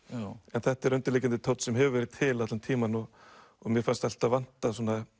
en þetta er undirliggjandi tónn sem hefur verið til allan tímann og mér fannst alltaf vanta